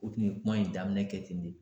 O tun ye kuma in daminɛ kɛ ten de